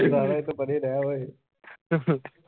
ਸਾਲਿਆ ਏਦੇ ਤੋਂ ਪਰੇ ਰਹਿ ਓਏ